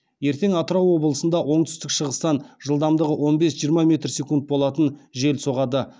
ертең атырау облысында оңтүстік шығыстан жылдамдығы он бес жиырма метр секунд болатын жел соғады